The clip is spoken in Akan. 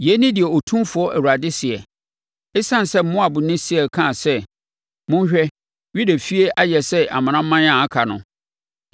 “Yei ne deɛ Otumfoɔ Awurade seɛ: ‘Esiane sɛ Moab ne Seir kaa sɛ, “Monhwɛ, Yuda efie ayɛ sɛ amanaman a aka no”